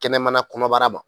Kɛnɛmana kɔnɔbara ma.